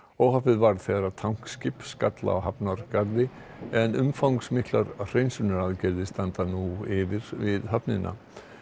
óhappið varð þegar skall á hafnargarðinum en umfangsmiklar hreinsunaraðgerðir standa nú yfir við höfnina